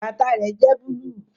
Bàtà rẹ jẹ́ búlúù